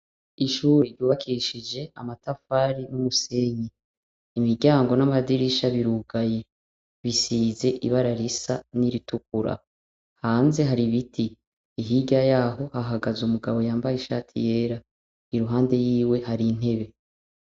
Ishuri ryubakishije amatafari n,umusenyi. Imiryango n'amadirisha birugaye. Bisize ibara risa n'iritukura. Hanze hari ibiti. Hirya yaho hahagaze umugabo yambaye ishati yera. Iruhande yiwe hari intebe.